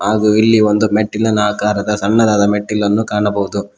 ಹಾಗು ಇಲ್ಲಿ ಒಂದು ಮೆಟ್ಟಿಲನ ಆಕಾರದ ಸಣ್ಣದಾದ ಮೆಟ್ಟಿಲನ್ನು ಕಾಣಬಹುದು.